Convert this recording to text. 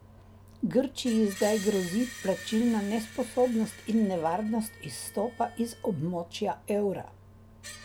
Grčiji zdaj grozi plačilna nesposobnost in nevarnost izstopa iz območja evra.